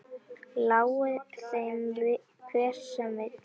Lái þeim hver sem vill.